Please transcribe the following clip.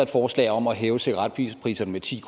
forslag om at hæve cigaretpriserne med ti